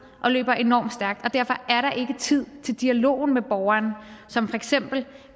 og løber enormt stærkt og derfor er der ikke tid til dialogen med borgeren som for eksempel